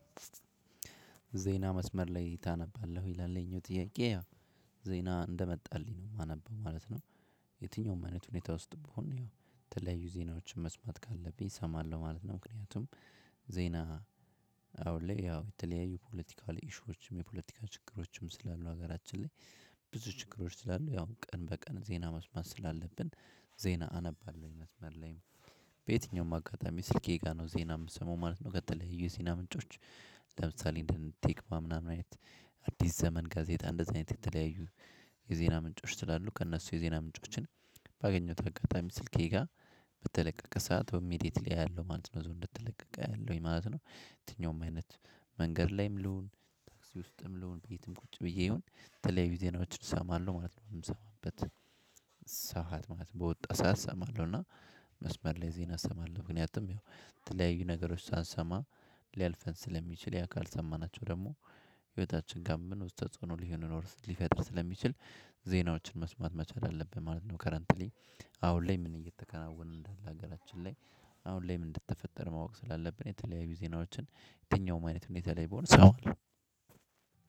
ዜና መስመር ላይ ታነባለህ ወይ ይላል? ይሄኛው ጥያቄ ያው ዜና እንደመጣልኝ ነው ማነበው ማለት ነው። የትኛውም አይነት ሁኔታ ውስጥ ብሆን ያው የተለያዩ ዜናዎችን መስማት ካለብኝ እሰማለሁ ማለት ነው። ምክንያቱም ዜና አሁን ላይ ያው የተለያዩ ፖለቲካል ኢሹዎችም የፖለቲካ ችግሮችም ስላሉ ሀገራችን ላይ ብዙ ችግሮች ስላሉ ያው ቀን በቀን ዜና መስማት ስላለብን። ዜና አነባለሁኝ መስመር ላይም። በየትኛውም አጋጣሚ ስልኬ ጋር ነው ዜና ምሰማው ማለት ነው። ከተለዩ የዜና ምንጮች። ለምሳሌ እንደ ቴክቫ ምናምን አይነት። አዲስ ዘመን ጋዜጣ እንደዚህ አይነት የተለያዩ የዜና ምንጮች ስላሉ ከነሱ የዜና ምንጮችን። ባገኘሁት አጋጣሚ ስልኬ ጋር በተለቀቀ ሰዓት ኢሚዴትሊ አያለው ማለት ነው እዛው እንደተለቀቀ አያለውኝ ማለት ነው። የትኛውም አይነት። መንገድ ላይም ልሁን ታክሲ ውስጥም ልሁን ቤትም ቁጭ ብዬ ይሁን ተለያዩ ዜናዎችን እሰማለሁ ማለት ነው። ምሰማበት ሰዓት ማለት በወጣ ሰዓት እሰማለሁ እና። መስመር ላይ ዜና እሰማለሁ ምክንያቱም የተለያዩ ነገሮች ሳንሰማ። ሊያልፈን ስለሚችል ያ ካልሰማናቸው ደግሞ። ህይወታችን ጋር ምን ውስጥ ተጽዕኖ ሊሆን ሊፈጥር ስለሚችል ዜናዎችን መስማት መቻል አለብን ማለት ነው። ከረንትሊ አሁን ላይ ምን እየተከናወነ እንደሆነ ሀገራችን ላይ። አሁን ላይ ምን እንደተፈጠረ ማወቅ ስላለብን የተለያዩ ዜናዎችን የትኛውም አይነት ሁኔታ ላይ በሆነ ሰው አሉ።